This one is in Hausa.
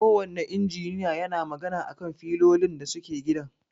Ko wanne injiniya yana magana a kan filolin da suke gidan.